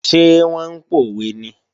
Ṣé wọ́n ń pòwe ni?